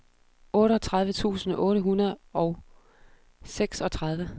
otteogtredive tusind otte hundrede og seksogtredive